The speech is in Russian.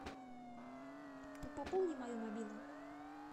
пополни мою мобилу